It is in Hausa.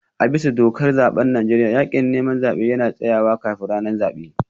A bisa dokar zaben Najeriya, yakin neman zabe yana tsayawa kafin ranar zabe